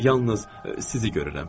Yalnız sizi görürəm.